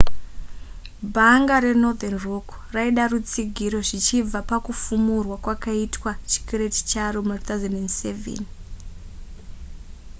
bhanga renorthern rock raida rutsigiro zvichibva pakufumurwa kwakaitwa chikwereti charo muna 2007